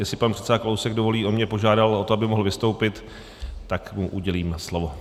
Jestli pan předseda Kalousek dovolí, on mě požádal o to, aby mohl vystoupit, tak mu udělím slovo.